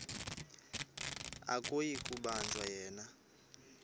akuyi kubanjwa yena